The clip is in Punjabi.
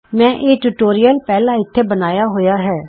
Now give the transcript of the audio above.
ਮੈਂ ਇਹ ਟਯੂਟੋਰਿਅਲ ਪਹਿਲਾਂ ਇਥੇ ਬਣਾਇਆਂ ਹੋਇਆ ਹੈ